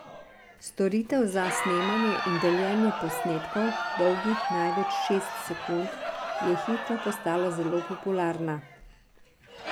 Storitev za snemanje in deljenje posnetkov, dolgih največ šest sekund, je hitro postala zelo popularna.